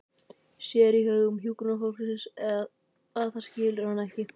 Sér í augum hjúkrunarfólksins að það skilur hana ekki.